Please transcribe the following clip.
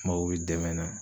Mago be dɛmɛ na